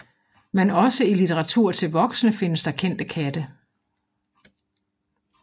Men også i litteratur til voksne findes der kendte katte